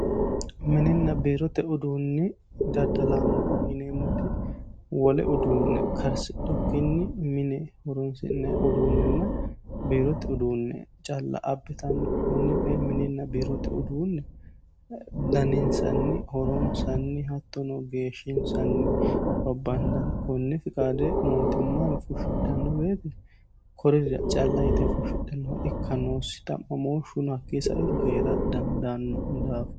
mininna biirote uduunni daddalaano yineemmoti wole uduunne karsidhukkinni mine horosi'nayi uduunnenna biirote uduunne calla abbitanno konno kay mininna biirote uduunne daninsanni horonsanni hattono geeshshinsanni babbandanni konne fiqaade mootimmayiwii fushshidhanno woyiite kuririra calla yite fushshidhannoha ikka noossi xa'mamooshuno hakkii sa"iro hee'ra dandaanno daafo